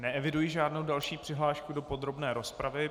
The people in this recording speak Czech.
Neeviduji žádnou další přihlášku do podrobné rozpravy.